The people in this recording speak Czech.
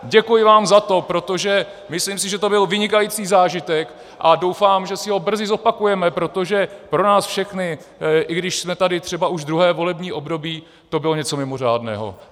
Děkuji vám za to, protože si myslím, že to byl vynikající zážitek, a doufám, že si ho brzy zopakujeme, protože pro nás všechny, i když jsme tady třeba už druhé volební období, to bylo něco mimořádného.